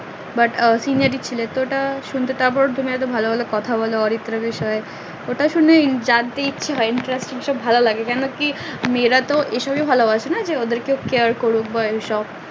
but ভালো ভালো কথা বলে অরিত্রার বিষয়ে ওটা শুনে জানতে ইচ্ছে হয় interesting সব ভালো লাগে কেন কি মেয়ে রা তো এই সবই ভালোবাসে ওদের কেউ cear করুক বা ওই সব